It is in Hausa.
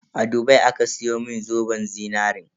A Dubai aka siyo mun zoben zinarin.